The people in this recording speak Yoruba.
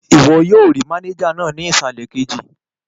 Ìwọ yóò rí mánéjà náà ní ìsàlẹ̀ kejì